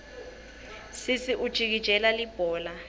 sesi ujikijela libhola